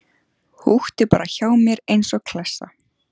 Húkti bara hjá mér eins og klessa.